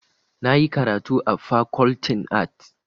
Na yi karatu a Fakoltin Arts.